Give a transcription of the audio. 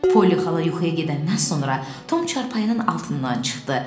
Polli xala yuxuya gedəndən sonra Tom çarpayının altından çıxdı.